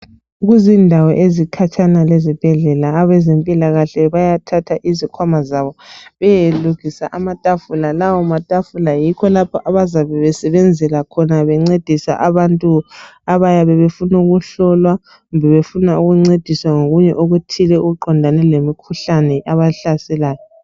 Ezindaweni ezikhatshana ukulezibhedlela abezempilakahle bayathatha izikhwama zabo beyeyelukisa amatafula amatafula lawa yikho lapha abayabe besebenzela khona bengcedisa abantu abayabe befuna ukuhlolwa kumbe befuna ukungcediswa ngokunye okuthile okuqondane lemikhuhlane ebahlaselayo